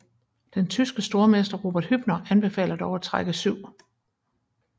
Den tyske stormester Robert Hübner anbefaler dog at trække 7